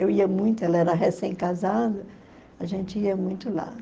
Eu ia muito, ela era recém-casada, a gente ia muito lá.